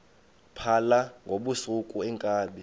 phala ngobusuku iinkabi